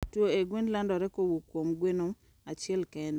tuohe gwen landore kowuok kuom gweno achiel kende